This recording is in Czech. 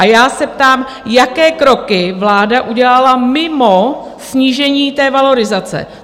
A já se ptám, jaké kroky vláda udělala mimo snížení té valorizace?